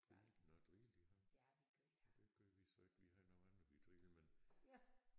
Drillede nåh drillede I ham? Nåh det gjorde vi så ikke vi havde nogle andre vi drillede men